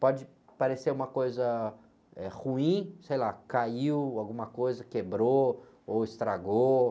Pode parecer uma coisa, eh, ruim, sei lá, caiu alguma coisa, quebrou ou estragou.